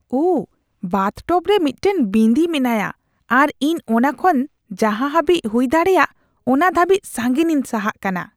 ᱳᱦ!, ᱵᱟᱛᱷᱴᱚᱵ ᱨᱮ ᱢᱤᱫᱴᱟᱝ ᱵᱤᱸᱫᱤ ᱢᱮᱱᱟᱭᱟ ᱟᱨ ᱤᱧ ᱚᱱᱟ ᱠᱷᱚᱱ ᱡᱟᱦᱟᱸ ᱦᱟᱹᱵᱤᱡ ᱦᱩᱭᱫᱟᱲᱮᱭᱟᱜ ᱚᱱᱟ ᱫᱷᱟᱹᱵᱤᱡ ᱥᱟᱺᱜᱤᱧᱤᱧ ᱥᱟᱦᱟᱜ ᱠᱟᱱᱟ ᱾